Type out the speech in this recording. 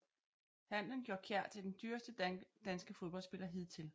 Handlen gjorde Kjær til den dyreste danske fodboldspiller hidtil